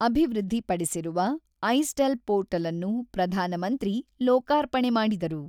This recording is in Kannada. ಅಭಿವೃದ್ಧಿಪಡಿಸಿರುವ ಐಸ್ಟೆಲ್ ಪೋರ್ಟಲ್‌ನ್ನು ಪ್ರಧಾನಮಂತ್ರಿ ಲೋಕಾರ್ಪಣೆ ಮಾಡಿದರು.